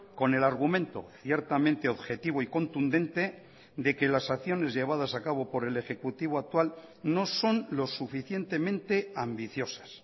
con el argumento ciertamente objetivo y contundente de que las acciones llevadas a cabo por el ejecutivo actual no son lo suficientemente ambiciosas